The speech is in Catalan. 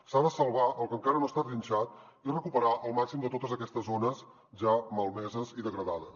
s’ha de salvar el que encara no està trinxat i recuperar el màxim de totes aquestes zones ja malmeses i degradades